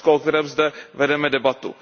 Rusko, o kterém zde vedeme debatu.